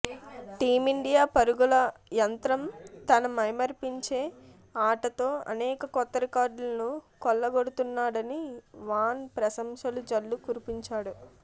team India పరుగుల యంత్రం తన మైమరిపించే ఆటతో అనేక కొత్త రికార్డులను కొల్లగొడుతున్నాడని వాన్ ప్రశంసలు జల్లు కురిపించాడు